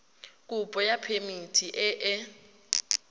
kopo ya phemiti e e